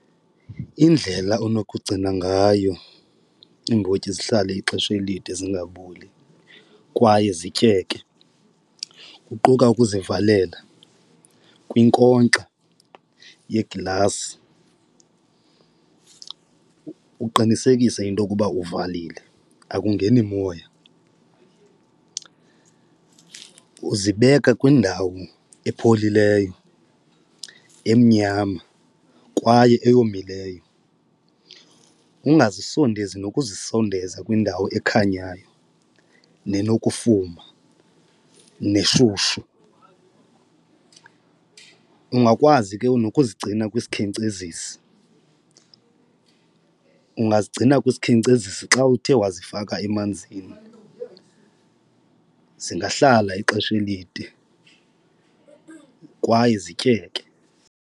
Indlela onokugcina ngayo iimbotyi zihlale ixesha elide zingaboli kwaye zityeke, kuquka ukuzivalela kwinkonkxa yeglasi uqinisekise into okuba uvalile akungeni moya. Uzibeka kwindawo epholileyo emnyama kwaye eyomileyo ungazisondezi nokuzisondeza kwindawo ekhanyayo nenokufuma neshushu. Ungakwazi ke nokuzigcina kwisikhenkcezisi ungazigcina kwisikhenkcezisi xa uthe wazifaka emanzini zingahlala ixesha elide kwaye zityeke.